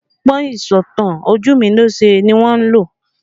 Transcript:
Ọgbọ́n ìsọ̀tàn ojumilose ni wọ́n lò